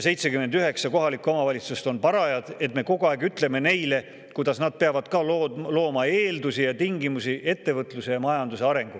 79 kohalikku omavalitsust on parajad selleks, et me kogu aeg ütleme neile, kuidas nad peavad looma eeldusi ja tingimusi ettevõtluse ja majanduse arenguks.